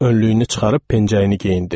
Önlüyünü çıxarıb pencəyini geyindi.